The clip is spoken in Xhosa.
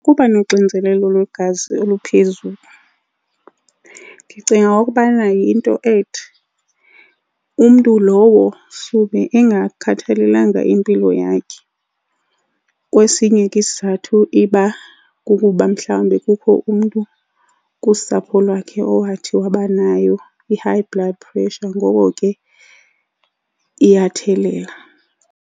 Ukuba nonxinzelelo lwegazi oluphezulu ndicinga ukubana yinto ethi umntu lowo sube engakhathalelanga impilo yakhe. Kwesinye ke isizathu iba kukuba mhlawumbi kukho umntu kusapho lwakhe owathi wabanayo i-high blood pressure, ngoko ke iyathelela.